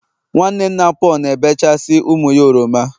nwanne nna Paul na-ebechasị ụmụ ya oroma